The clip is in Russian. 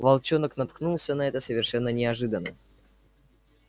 волчонок наткнулся на это совершенно неожиданно